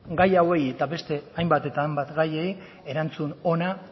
gai hauei eta beste hainbat eta hainbat gaiei erantzun ona